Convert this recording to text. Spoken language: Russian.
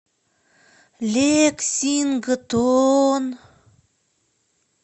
лексингтон